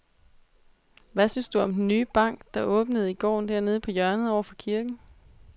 Hvad synes du om den nye bank, der åbnede i går dernede på hjørnet over for kirken?